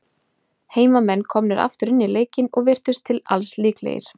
Heimamenn komnir aftur inn í leikinn, og virtust til alls líklegir.